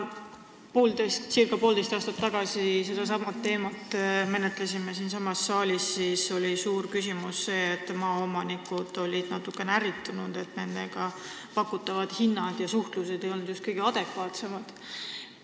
Kui me circa poolteist aastat tagasi sedasama teemat siin saalis arutasime, siis oli suur küsimus see, et maaomanikud olid natukene ärritunud, et nendele pakutavad hinnad ja üldse suhtlus ei olnud just kõige adekvaatsemad.